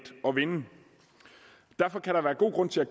at vinde derfor kan der være god grund til at